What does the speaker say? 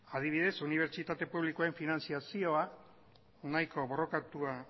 adibidez unibertsitate publikoen finantziazioa nahiko borrokatua